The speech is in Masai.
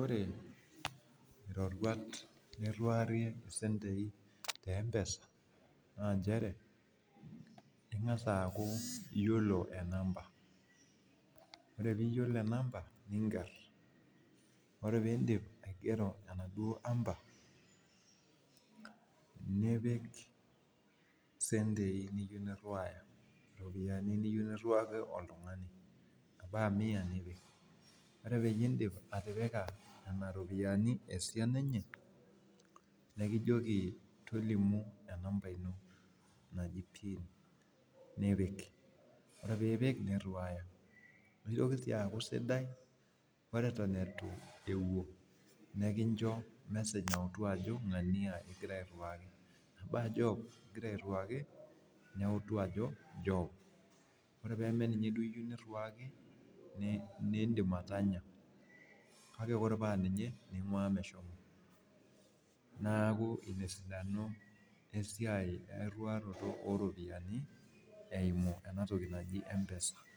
Ore iroruat niruarie mpisai tempesa na ingasa aaku iyolo enamba ore piyiolo enamba ninger ore pindip aigero enaduo aamba nipik isentei niyieu niriwaki oltungani ore pindip atipika nona ropiyani esiana enye nikijoki tolimu pin ore pipik niriwaa nitoki si aaku sidai ore atan itu un nikijoki ngania iterewaka neutu ako job ore pamaaninye ingira airiwaki nindim atanya ore paa ninye ingira airiwaki nincho meshomo neaku inaesidano esiai wriwaroto oropiyiani